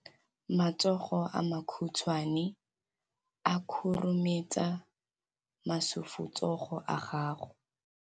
Matsogo a makhutshwane a khurumetsa masufutsogo a gago.